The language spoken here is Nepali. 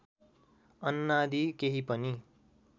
अन्नादि केही पनि